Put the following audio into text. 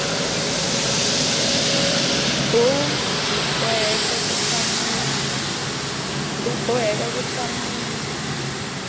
b u boheka ku hlamula